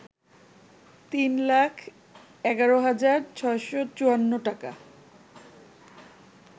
৩ লাখ ১১ হাজার ৬৫৪ টাকা